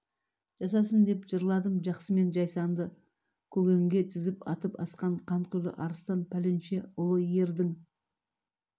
жасасын деп жырладым жақсы мен жайсаңды көгенге тізіп атып-асқан қанқұйлы арыстан пәленше ұлы ердің